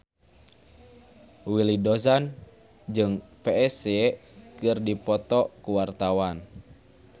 Willy Dozan jeung Psy keur dipoto ku wartawan